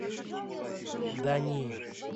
да нет